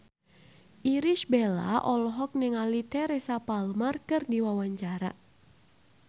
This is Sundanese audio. Irish Bella olohok ningali Teresa Palmer keur diwawancara